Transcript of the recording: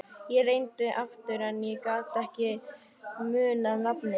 Ég reyndi aftur en ég gat ekki munað nafnið.